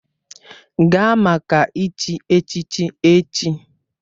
Gaa maka ịchi echichi echi!